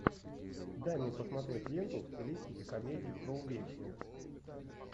дай мне посмотреть ленту в стилистике комедий про увечья